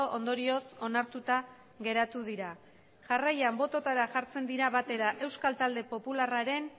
ondorioz onartuta geratu dira jarraian bototara jartzen dira batera euskal talde popularraren